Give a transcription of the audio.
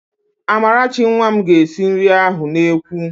Amarachi nwa m ga-esi nri ahụ n'ekwu